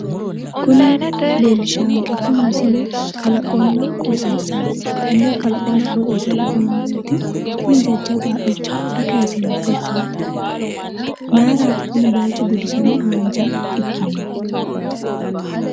Kuni leellishanketi misile kalaqonna qooxeessaati tenne kalaqonna qoxeessa la'neemmo woyiite tini jajjabba haqqicho ayi kaaseenna fultinote? mayiirati kuni bayiichu gudisame haanja ikkinohu?